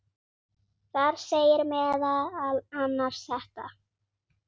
Þar segir meðal annars þetta